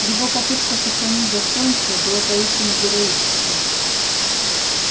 его попытка сохранить достоинство была поистине героической